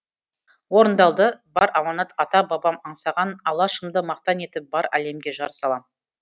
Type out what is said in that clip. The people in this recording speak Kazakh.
орындалды бар аманат ата бабам аңсаған алашымды мақтан етіп бар әлемге жар салам